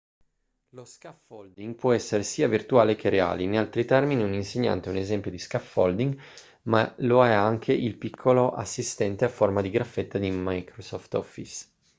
lo scaffolding può essere sia virtuale che reale in altri termini un insegnante è un esempio di scaffolding ma lo è anche il piccolo assistente a forma di graffetta di microsoft office